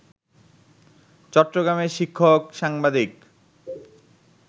চট্টগ্রামের শিক্ষক, সাংবাদিক